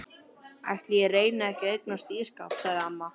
Ætli ég reyni ekki að eignast ísskáp sagði amma.